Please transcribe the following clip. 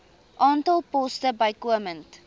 aantal poste bykomend